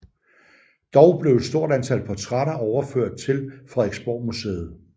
Dog blev et stort antal portrætter overført til Frederiksborgmuseet